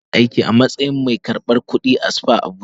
Mariam tana aiki a matsayin mai karbar kudi a spa Abuja.